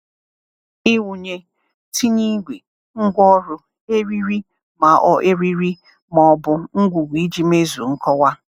Ịwụnye — Tinye igwe, ngwaọrụ, eriri, ma ọ eriri, ma ọ bụ ngwugwu iji mezuo nkọwa.